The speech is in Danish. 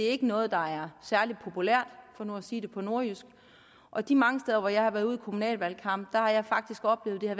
er noget der er særlig populært for nu at sige det på nordjysk og de mange steder hvor jeg har været ude i kommunalvalgkampen har jeg faktisk oplevet at